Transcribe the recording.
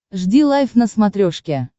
жди лайв на смотрешке